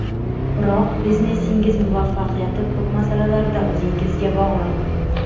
Biroq biznesingiz muvaffaqiyati ko‘p masalalarda o‘zingizga bog‘liq.